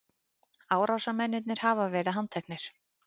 Árásarmennirnir hafa verið handteknir